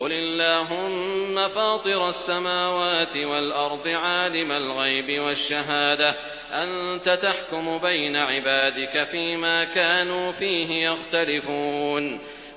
قُلِ اللَّهُمَّ فَاطِرَ السَّمَاوَاتِ وَالْأَرْضِ عَالِمَ الْغَيْبِ وَالشَّهَادَةِ أَنتَ تَحْكُمُ بَيْنَ عِبَادِكَ فِي مَا كَانُوا فِيهِ يَخْتَلِفُونَ